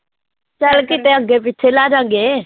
ਚੱਲ ਕਿਤੇ ਅੱਗੇ ਪਿੱਛੇ ਲੈ ਜਾਵਾਂਗੇ